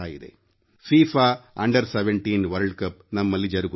FIFA under17 World Cup ನಮ್ಮಲ್ಲಿ ಜರುಗುತ್ತಿದೆ